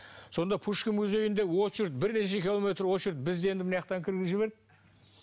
сонда пушкин музейінде очередь бірнеше километр очередь бізді енді мынаяақтан кіргізіп жіберді